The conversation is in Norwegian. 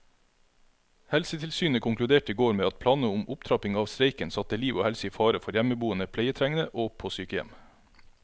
Helsetilsynet konkluderte i går med at planene om opptrapping av streiken satte liv og helse i fare for hjemmeboende pleietrengende og på sykehjem.